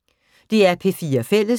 DR P4 Fælles